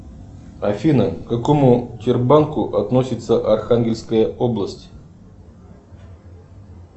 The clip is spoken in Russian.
афина к какому тербанку относится архангельская область